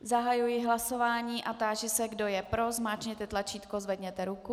Zahajuji hlasování a táži se, kdo je pro, zmáčkněte tlačítko, zvedněte ruku.